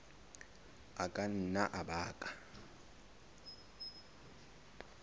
a ka nna a baka